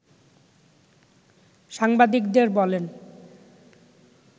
সাংবাদিকদের বলেন